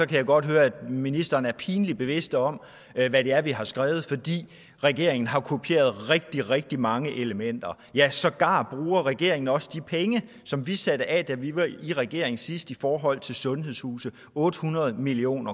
kan jeg godt høre at ministeren er pinligt bevidst om hvad det er vi har skrevet fordi regeringen har kopieret rigtig rigtig mange elementer ja sågar bruger regeringen også de penge som vi satte af da vi var i regering sidst i forhold til sundhedshuse otte hundrede million